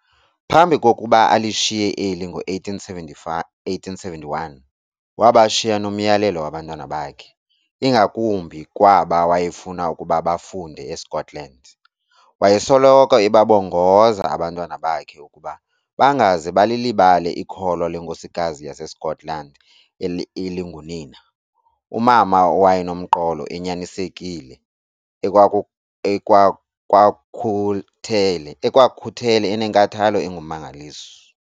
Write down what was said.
Phambi kokuba alishiye eli ngo1871, wabashiya nomyalelo abantwana bakhe, ingakumbi kwaba wayefuna ukuba bafunde eScotland. Wayesoloko ebabongoza abantwana bakhe ukuba bangaze balilibale ikholwa lenkosikazi yaseScotland elingunina, umama owayenomqolo, enyanisekile ekwakhuthele enenkathalo engummangaliso.